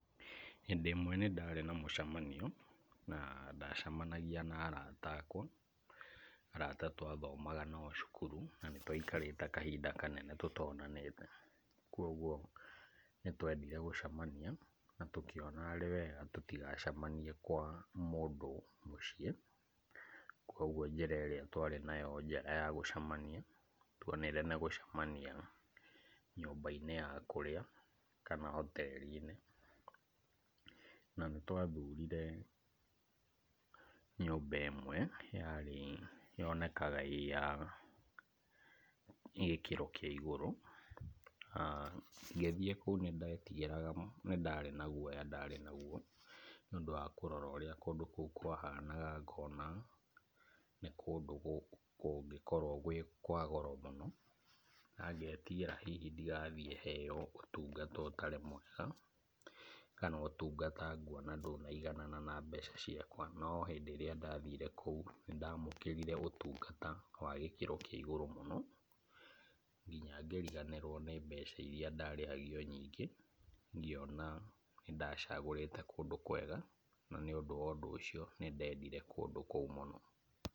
Hĩndĩ ĩmwe nĩ ndarĩ na mũcemanio, na ndacamanagia na arata akwa, arata twathomaga nao cukuru na nĩ twaikarĩte kahinda kanene tũtonanĩte, kũgwo nĩtwathire gũacamania na tũkĩona arĩ wega tũtikacemanie kwa mũndũ mũciĩ, kũgwo njĩra ĩrĩa twarĩ nayo njega yagũcemania twonire nĩ gũcemania nyũmba-inĩ ya kũrĩa kana hoteri-inĩ, na nĩ twathurire nyũmba ĩmwe yonekaga ĩ ya gĩkĩro kĩa igũrũ, a ngĩthiĩ kũu nĩndetigĩraga, nĩ ndarĩ na guoya nĩ ũndũ wa kũrora ũrĩa kũndũ kũu kwa hanaga ngona nĩ kũndũ kũngĩ korwo gwĩ kwa goro mũno, na ngetigĩra hihi ndigathiĩ heo ũtungata ũtarĩ mwega, kana ũtugata nguona ndũnaiganana na mbeca ciakwa, no hĩndĩ ĩrĩa ndathire kũu nĩndamũkĩrire ũtungata wa gĩkĩro kĩa igũrũ mũno, nginya ngĩriganĩrwo nĩ mbeca iria ndarĩhagio nyingĩ, ngĩona nĩndacagũrĩte kũndũ kwega, nĩ ũndũ wa ũndũ ũcio, nĩ ndendire kũndũ kũu mũno.